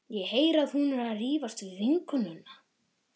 Ég heyri að hún er að rífast við vinnukonuna.